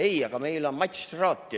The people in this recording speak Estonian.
Ei, aga meil on Mats Traati.